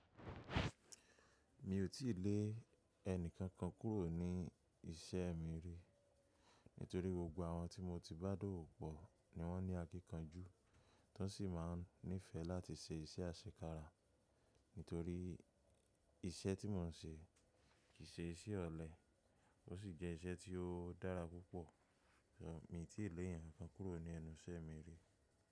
Mi ò tíì lé ẹnì kànkàn kúrò ní iṣẹ́ mi rí, nítorí gbògbò àwọn tí mo ti bá dọ̀ọ̀wò pọ̀ ni wọ́n ní akíkànjú, tọ sí máa nífẹ̀ẹ́ láti ṣe iṣẹ́ àṣekára, nítorí iṣẹ́ tí mò ń ṣe kì í ṣe iṣẹ́ ọ̀lẹ, ó sì jẹ́ iṣẹ́ tí ó dára púpọ̀. Ṣọ, mi ò tíì lé ẹyàn kànkàn kúrò ní ẹnu iṣẹ́ mi rí.